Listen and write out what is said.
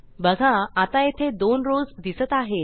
बघा आता येथे दोन rowsदिसत आहेत